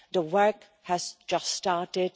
The work has just started.